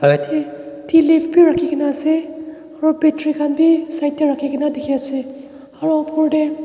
ete tea leaves bi rakhi kene ase aru battery khan bi side te rakhi kene dikhi ase aru oper te.